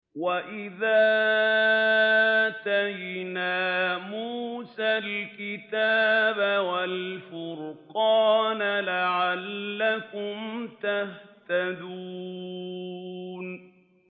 وَإِذْ آتَيْنَا مُوسَى الْكِتَابَ وَالْفُرْقَانَ لَعَلَّكُمْ تَهْتَدُونَ